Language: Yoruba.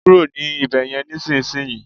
kúrò ní Ibeyin nisinsinyi